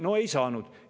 No ei saanud.